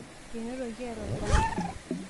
enotoki eeta olbanki